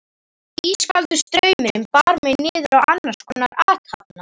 Ískaldur straumurinn bar mig niður á annarskonar athafna